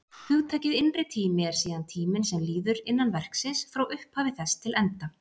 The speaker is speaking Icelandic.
Hugtakið innri tími er síðan tíminn sem líður innan verksins, frá upphafi þess til enda.